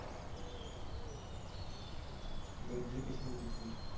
ਵਰਜੀ ਕਿਸਨੇ ਜਿੱਤੀ?